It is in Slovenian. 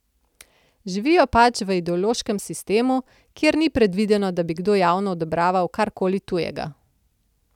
Živijo pač v ideološkem sistemu, kjer ni predvideno, da bi kdo javno odobraval kar koli tujega.